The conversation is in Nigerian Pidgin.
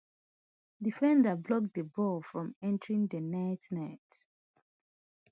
defender block di ball from entering di net net